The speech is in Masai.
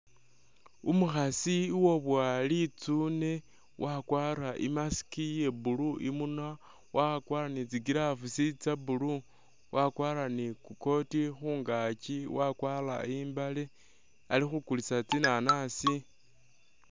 Umukhasi uwabowa litsune wakwara i'mask iya'blue imunywa, wakwara ni tsi'gloves tsa blue, wakwara ni i'coat khungaaki wakwara i'mbale alikhukulisa tsinanasi